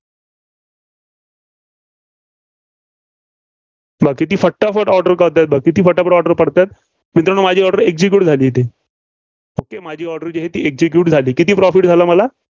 बघा, किती फटाफट order कळतायेत, किती फटाफट order पडतायेत. मित्रांनो माझी order execute झाली इथे. okay माझी order जी आहे execute झाली. किती profit झालं मला?